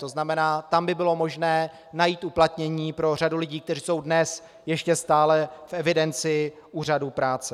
To znamená, tam by bylo možné najít uplatnění pro řadu lidí, kteří jsou dnes ještě stále v evidenci úřadů práce.